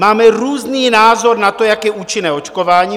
Máme různý názor na to, jak účinné je očkování.